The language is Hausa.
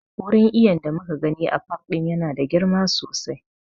Wurin iyon da muka gani a pak ɗin ya na da girma sosai